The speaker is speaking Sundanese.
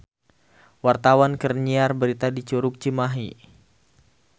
Wartawan keur nyiar berita di Curug Cimahi